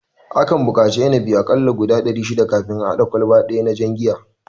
Akan buƙatan a kalla inabi guda dari shida kafin a hada kwalba daya na jan giya